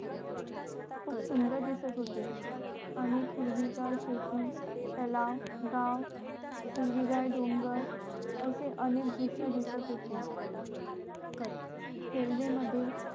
खूप सुंदर दिसत होते आणि हिरवी गार शेती तलाव गाव हिरवे गार डोंगर असे अनेक दृष्य दिसत होते रेल्वे मध्ये